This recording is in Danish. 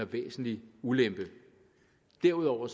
væsentlig ulempe derudover